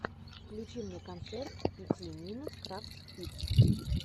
включи мне концерт пяти минут крафтс кидс